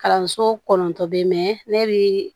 Kalanso kɔnɔntɔ bɛ ne bi